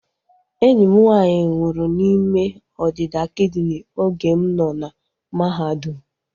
Enyi m nwaanyị nwụrụ n'ime ọdịda kidini oge m nọ na mahadum